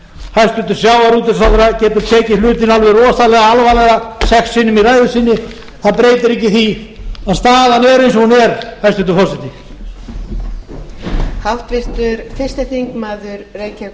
hæstvirtur sjávarútvegsráðherra getur tekið hlutina alveg rosalega alvarlega sex sinnum í ræðu sinni það breytir ekki því að staðan er eins og hún er hæstvirtur forseti